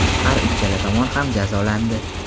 har uchala tomon ham jazolandi.